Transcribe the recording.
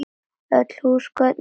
Öll húsgögn eru sófar